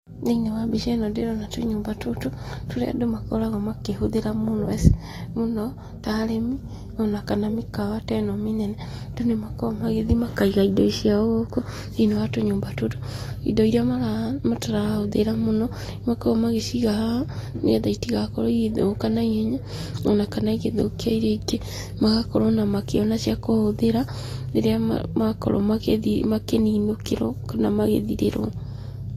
Thĩiniĩ wa mbica ĩno ndĩrona tũnyũmba tũtũ, tũrĩa andũ makoragwo makĩhũthĩra mũno ta arĩmi o na kana mĩkawa ta ĩno mĩnene. Andũ nĩ makoragwo magĩthiĩ makaiga indo ciao gũkũ thĩiniĩ wa tũnyũmba tũtũ. Indo iria matarahũthĩra mũno, nĩ makoragwo magĩciga haha nĩ getha itigakorwo igĩthũka na ihenya o na kana igĩthũkia iria ingĩ, magakorwo o na makĩona cia kũhũthĩra rĩrĩa makorwo makĩninũkĩrwo kana magĩthirĩrwo.